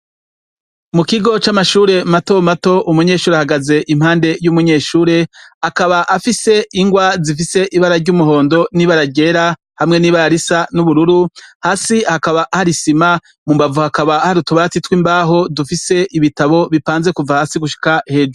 Mukiko c’amashure mato mato, umunyeshure ahagaze impande y’umunyeshure, akaba afise ingwa zifise ibara ry’umuhondo n’ibara ryera hamwa n’ibara risa n’ubururu, hasi hakaba har’isima, mumbavu hakaba har’utubati tw’imbaho dufise ibitabo bipanze kuva hasi gushika hejuru.